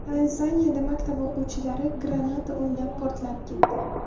Tanzaniyada maktab o‘quvchilari granata o‘ynab, portlab ketdi.